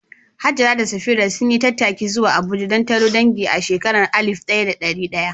Hajara da Safira sun yi tattaki zuwa Abuja don taron dangi a shekarar alif ɗaya da ɗari ɗaya